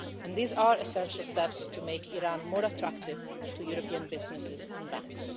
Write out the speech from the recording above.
These are essential steps to make Iran more attractive to European businesses and banks.